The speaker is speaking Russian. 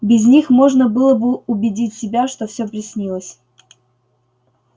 без них можно было бы убедить себя что всё приснилось